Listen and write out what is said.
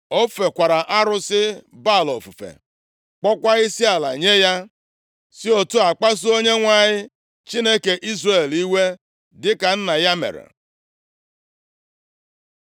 Ọ fekwara arụsị Baal ofufe, kpọọkwa isiala nye ya, si otu a kpasuo Onyenwe anyị, Chineke Izrel iwe, dịka nna ya mere.